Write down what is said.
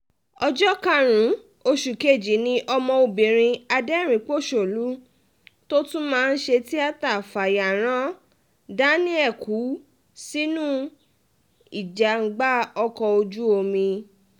ọjọ́ karùn-ún oṣù kejì ni ọmọbìnrin aderin-ín-pọ̀ṣónú tó tún máa ń ṣe tíáta fayaran daniel kú sínú ìjàgbá ọkọ̀ ojú-omi